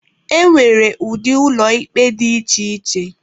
E nwere ụdị ụlọ ikpe dị iche iche